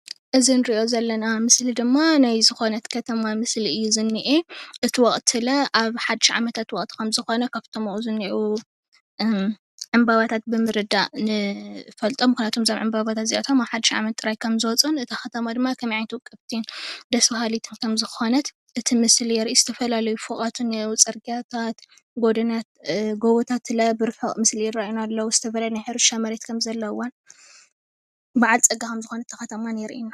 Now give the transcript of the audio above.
እዚ ንሪኦ ዘለና ምስሊ ድማ ናይ ዝኮነት ከተማ ምስሊ እዩ ዝኒአ እቲ ወቅቲለ ኣብ ሓዱሽ ዓመታት ኣከወቅቲ ካብቶም ኣብኡ ዝኒኣዉ ዕምበባታት ብምርዳእ ንፈልጥም ምክንያት ዞም ዕምበባታት እዚኣቶ ኣብ ሓዱሽ ዓመት ጥራይ ከምዝወፁን እታ ከተማ ደማ ከምይ ዓይነት ዉቅብቲ ደስ ብሃሊት ከምዝኮነት እቲ ምስሊ የርኢ ዝተፈላለዩ ፎቃት እአዉ ፅርግያታት ግቦታት ብርሕቀት ይርኣዩና ኣለዉ